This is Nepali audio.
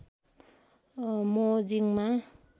मो जिंगमा